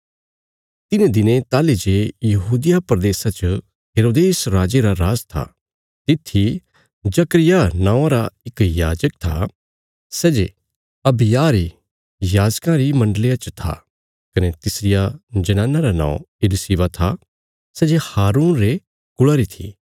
तिन्हें दिनें ताहली जे यहूदिया प्रदेशा च हेरोदेस राजे रा राज था तित्थी जकर्याह नौआं रा इक याजक था सै जे अबिय्याह री याजकां री मण्डलिया च था कने तिसरिया जनाना रा नौं इलिशिबा था सै जे हारून रे कुल़ा री थी